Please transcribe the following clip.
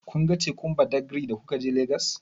Kun ga tekun Badagri da kuka je Legas?